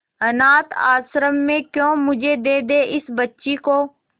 अनाथ आश्रम में क्यों मुझे दे दे इस बच्ची को